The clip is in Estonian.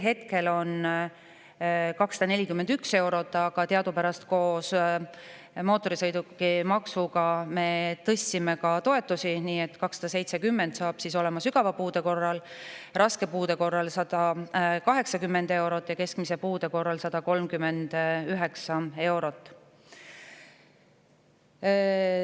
Hetkel on see 241 eurot, aga teadupärast koos mootorsõidukimaksuga me tõstsime ka toetusi, nii et 270 eurot saab olema sügava puude korral, raske puude korral 180 eurot ja keskmise puude korral 139 eurot.